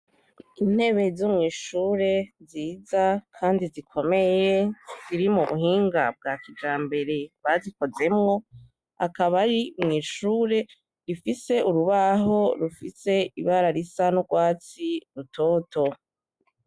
Intebe zo mwishure nziza kandi zikomeye ziri mu buhinga bwa kijambere bazikozemwo, akaba ari mwishure ifise urubaho rufise ibara risa n’urwatsi rutoto.